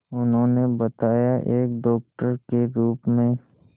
उन्होंने बताया एक डॉक्टर के रूप में